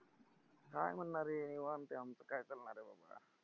काय म्हणणारे? निवांत आहे आमचं काय चालणारे